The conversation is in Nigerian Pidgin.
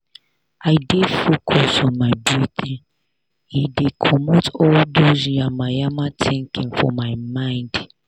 i dey focus on my breathing e dey comot all dos yamamaya thinking for my mind.